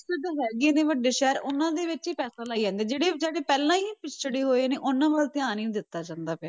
ਵਿਕਸਤ ਹੈਗੀ ਹੈ ਵੀ ਵੱਡੇ ਸ਼ਹਿਰ ਉਹਨਾਂ ਦੇ ਵਿੱਚ ਹੀ ਪੈਸਾ ਲਾਈ ਜਾਂਦੀ ਹੈ, ਜਿਹੜੇ ਜਿਹੜੇ ਪਹਿਲਾਂ ਹੀ ਪਿੱਛੜੇ ਹੋਏ ਨੇ ਉਹਨਾਂ ਵੱਲ ਧਿਆਨ ਹੀ ਨੀ ਦਿੱਤਾ ਜਾਂਦਾ ਪਿਆ।